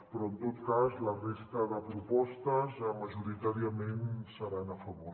però en tot cas la resta de propostes majoritàriament seran a favor